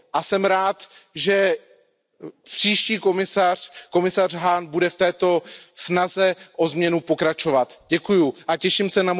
A jsem rád, že příští komisař, komisař Hahn, bude v této snaze o změnu pokračovat. Děkuji a těším se